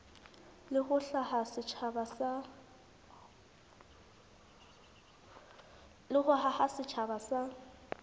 le ho haha setjhaba sa